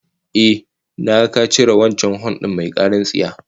Ehh, na ga ka cire wancan hon din mai karar tsiya